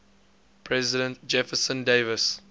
president jefferson davis